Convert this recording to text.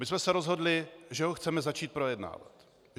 My jsme se rozhodli, že ho chceme začít projednávat.